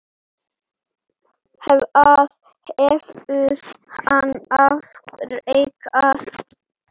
Hvað hefur hann afrekað?